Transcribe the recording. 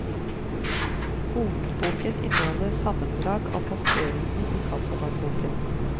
Hovedboken inneholder sammendrag av posteringene i kassadagboken.